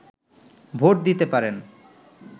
vote দিতে পারেন